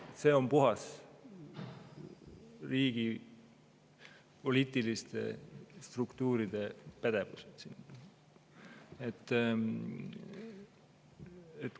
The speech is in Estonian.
See on puhas riigi poliitiliste struktuuride pädevus.